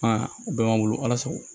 o bɛɛ b'an bolo ala sago